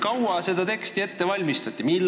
Kui kaua seda teksti ette valmistati?